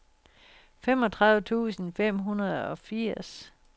femogtredive tusind fem hundrede og firs